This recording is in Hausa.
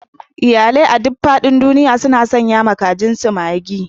Iyalai a duk faɗin duniya suna sanyawa kajinsu Maggi.